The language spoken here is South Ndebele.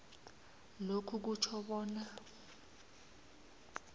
lokhu kutjho bona